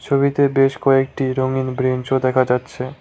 ছবিতে বেশ কয়েকটি রঙিন ব্রেঞ্চও দেখা যাচ্ছে।